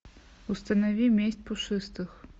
установи месть пушистых